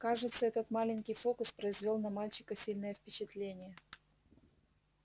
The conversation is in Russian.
кажется этот маленький фокус произвёл на мальчика сильное впечатление